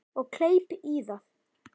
Og kleip í það.